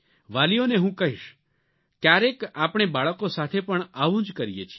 વાલીઓને હું કહીશ ક્યારેક આપણે બાળકો સાથે પણ આવું જ કરીએ છીએ